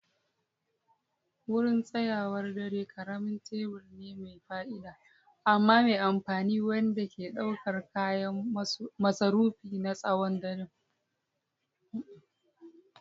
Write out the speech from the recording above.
Wurin tsayawar dare ƙaramin teburi ne mai fa'ida amma mai amfani wanda ke ɗaukar kayan masarufi na tsawon daren.